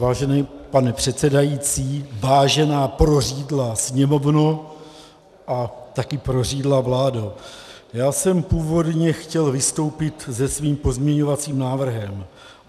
Vážený pane předsedající, vážená prořídlá Sněmovno a také prořídlá vládo, já jsem původně chtěl vystoupit se svým pozměňovacím návrhem.